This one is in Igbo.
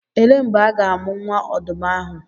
Elee mgbe a ga-amụ nwa ọdụm ahụ?